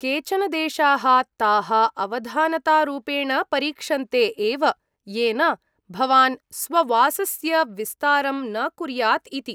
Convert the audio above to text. केचन देशाः ताः अवधानतारूपेण परीक्षन्ते एव येन भवान् स्ववासस्य विस्तारं न कुर्यात् इति।